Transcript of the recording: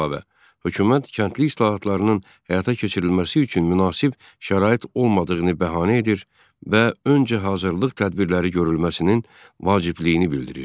Bundan əlavə, hökumət kəndli islahatlarının həyata keçirilməsi üçün münasib şərait olmadığını bəhanə edir və öncə hazırlık tədbirləri görülməsinin vacibliyini bildirirdi.